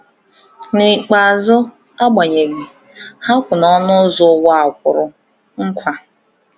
N’ikpeazụ, agbanyeghị, ha kwụ n’ọnụ ụzọ Ụwa a Kwụrụ Nkwa.